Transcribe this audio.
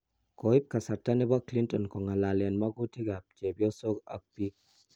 Koip kasarta nepo Clinton kongalalen magutikap chepyosok ak piik